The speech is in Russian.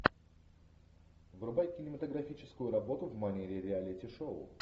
врубай кинематографическую работу в манере реалити шоу